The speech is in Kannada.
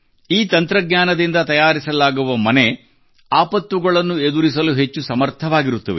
ಈ ತಂತ್ರಜ್ಞಾನದಿಂದ ತಯಾರಿಸಲಾಗುವ ಮನೆಯು ಆಪತ್ತುಗಳನ್ನು ಎದುರಿಸಲು ಹೆಚ್ಚು ಸಮರ್ಥವಾಗಿರುತ್ತವೆ